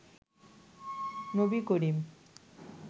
Nabi Karim